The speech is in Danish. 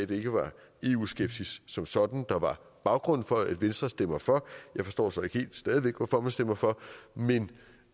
det ikke var eu skepsis som sådan der var baggrunden for at venstre stemmer for jeg forstår så stadig væk hvorfor man stemmer for men